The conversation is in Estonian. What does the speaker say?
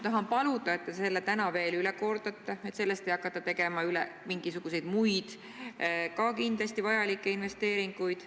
Ma palun, et te kordate täna veel üle, et sellest summast ei hakata tegema mingisuguseid muid, ka kindlasti vajalikke investeeringuid.